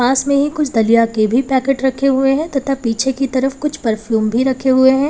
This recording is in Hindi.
इसमें ही कुछ दलिया के भी पैकेट रखे हुए हैं तथा पीछे की तरफ कुछ परफ्यूम भी रखे हुए हैं।